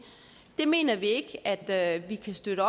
det mener vi ikke at vi kan støtte